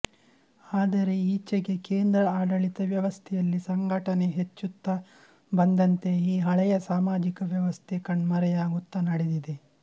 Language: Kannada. ಆದರೆ ಈಚೆಗೆ ಕೇಂದ್ರ ಆಡಳಿತ ವ್ಯವಸ್ಥೆಯಲ್ಲಿ ಸಂಘಟನೆ ಹೆಚ್ಚುತ್ತ ಬಂದಂತೆ ಈ ಹಳೆಯ ಸಾಮಾಜಿಕ ವ್ಯವಸ್ಥೆ ಕಣ್ಮರೆಯಾಗುತ್ತ ನಡೆದಿದೆ